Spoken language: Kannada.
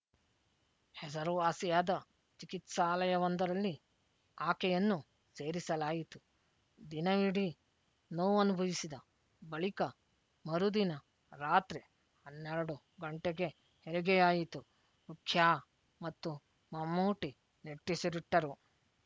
ಹೆಸರುವಾಸಿಯಾದ ಚಿಕಿತ್ಸಾಲಯವೊಂದರಲ್ಲಿ ಆಕೆಯನ್ನು ಸೇರಿಸಲಾಯಿತು ದಿನವಿಡೀ ನೋವನುಭವಿಸಿದ ಬಳಿಕ ಮರುದಿನ ರಾತ್ರಿ ಹನ್ನೆರಡು ಗಂಟೆಗೆ ಹೆರಿಗೆಯಾಯಿತು ರುಖ್ಯಾ ಮತ್ತು ಮಮ್ಮೂಟಿ ನಿಟ್ಟುಸಿರಿಟ್ಟರು